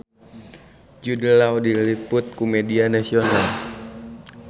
Jude Law diliput ku media nasional